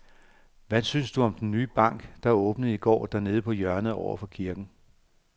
Hvad synes du om den nye bank, der åbnede i går dernede på hjørnet over for kirken?